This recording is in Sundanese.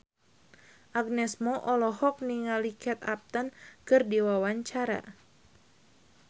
Agnes Mo olohok ningali Kate Upton keur diwawancara